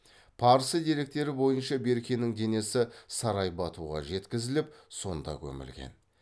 парсы деректері бойынша беркенің денесі сарай батуға жеткізіліп сонда көмілген